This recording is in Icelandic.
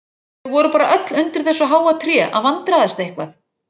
Þau voru bara öll undir þessu háa tré að vandræðast eitthvað.